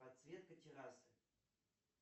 подсветка террасы